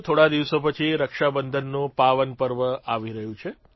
થોડા દિવસો પછી રક્ષાબંધનનું પાવનપર્વ આવી રહ્યું છે